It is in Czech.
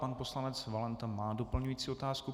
Pan poslanec Valenta má doplňující otázku.